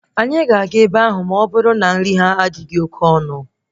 Anyị ga-aga ebe ahụ ọbụrụ na nri ha adịghị oke ọnụ